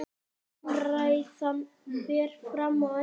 Umræðan fer fram á ensku.